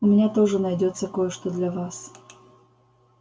у меня тоже найдётся кое-что для вас